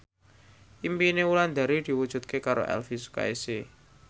impine Wulandari diwujudke karo Elvy Sukaesih